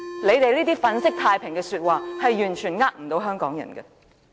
他們那些粉飾太平的說話，完全不能欺騙香港人。